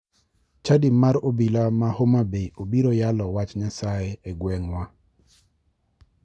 Chadi mar obila ma homabay obiro yalo wach nyasaye e gweng'wa.